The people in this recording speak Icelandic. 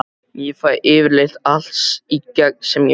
Ég fæ yfirleitt allt í gegn sem ég vil.